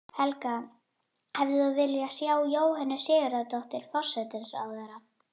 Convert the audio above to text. Helga: Hefðir þú viljað sjá Jóhönnu Sigurðardóttur, forsætisráðherra?